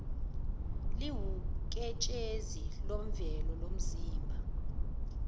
liwuketshezi lwemvelo lomzimba